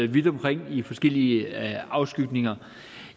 vidt omkring i forskellige afskygninger